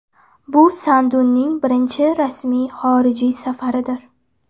Bu Sanduning birinchi rasmiy xorijiy safaridir.